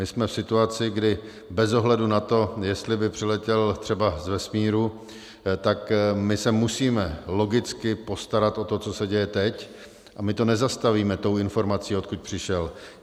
My jsme v situaci, kdy bez ohledu na to, jestli by přiletěl třeba z vesmíru, tak my se musíme logicky postarat o to, co se děje teď, a my to nezastavíme tou informací, odkud přišel.